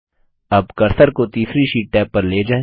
अब कर्सर को तीसरी शीट टैब पर ले जाएँ